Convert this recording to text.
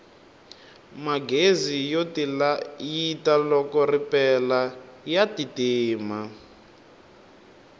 magezi yo tilayita loko ripela ya ti tima